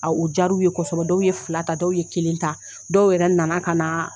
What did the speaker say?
A u jar'u ye kɔsɔbɛ dɔw ye fila ta dɔw ye kelen ta dɔw yɛrɛ nana ka na